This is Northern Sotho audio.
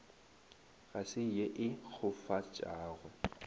ga se ye e kgofatšago